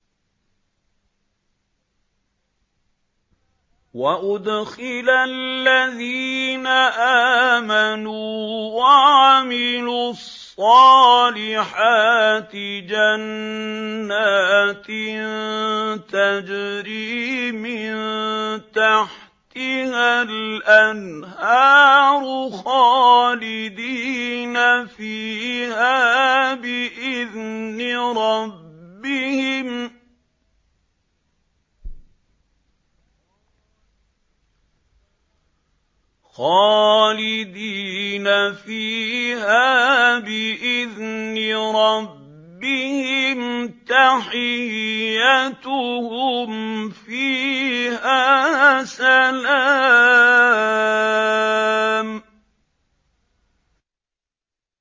وَأُدْخِلَ الَّذِينَ آمَنُوا وَعَمِلُوا الصَّالِحَاتِ جَنَّاتٍ تَجْرِي مِن تَحْتِهَا الْأَنْهَارُ خَالِدِينَ فِيهَا بِإِذْنِ رَبِّهِمْ ۖ تَحِيَّتُهُمْ فِيهَا سَلَامٌ